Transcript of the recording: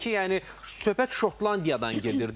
Bilirik ki, yəni söhbət Şotlandiyadan gedir də.